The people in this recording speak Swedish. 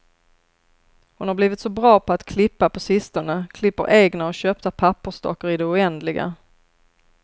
Hon har blivit så bra på att klippa på sistone, klipper egna och köpta pappersdockor i det oändliga.